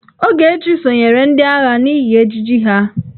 Ogechi sonyeere ndị agha n'ihi ejiji ha.